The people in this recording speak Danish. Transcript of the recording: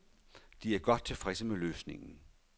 De er godt tilfredse med løsningen.